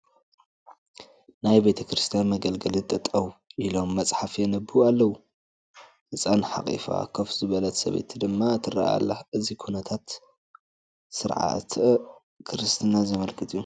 ናይ ቤተ ክርስቲያን መገልገሊ ጠጠው ኢሎም መፅሓፍ የንብቡ ኣለዉ፡፡ ህፃን ሓቒፋ ኮፍ ዝበለት ሰበይቲ ድማ ትርአ ኣላ፡፡ እዚ ኩነታት ንስርዓተ ክርስትና ዘመልክት እዩ፡፡